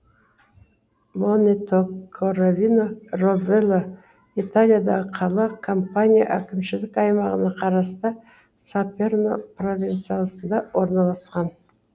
монето коровино ровелла италиядағы қала кампания әкімшілік аймағына қарасты саперно провинциясында орналасқан